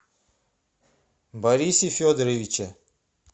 борисе федоровиче